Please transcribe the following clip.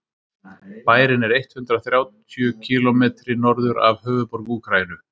bærinn er eitt hundruð þrjátíu kílómetri norður af höfuðborg úkraínu